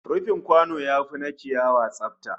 Rufin kwano yafi na ciyawa tsada